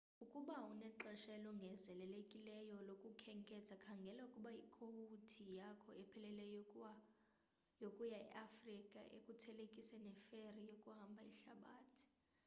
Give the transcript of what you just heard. ukuba unexesha elongezelelekileyo lokukhenketha khangela ukuba ikowuti yakho epheleleyo yokuya e afrika ukuthelekise neferi yokuhamba ihlabathi